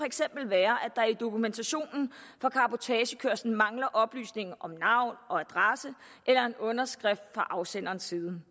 eksempel være at der i dokumentationen for cabotagekørslen mangler oplysninger om navn og adresse eller en underskrift fra afsenderens side den